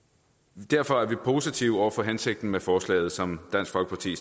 derfor er vi positive over for hensigten med forslaget som dansk folkeparti